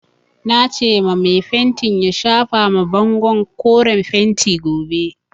Nace ma mai fentin ya shafa ma bangon koren fentin gobe.